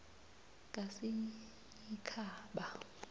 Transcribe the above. kasinyikhaba